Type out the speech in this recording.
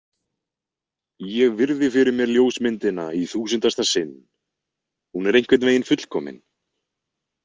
Ég virði fyrir mér ljósmyndina í þúsundasta sinn, hún er einhvern veginn fullkomin.